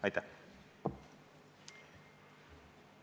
Aitäh!